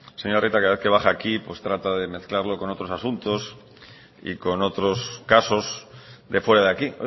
señor arieta cada vez que baja aquí pues trata de mezclarlo con otros asuntos y con otros casos de fuera de aquí